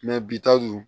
bi taa dun